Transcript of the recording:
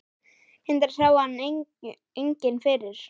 Reyndar sá hann enginn fyrir.